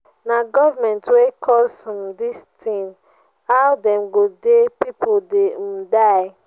na government wey cause um dis thing how dem go dey people dey um die.